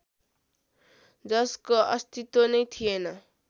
जसको अस्तित्व नै थिएन